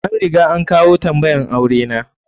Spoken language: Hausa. An riga an kawo tambayan aure na.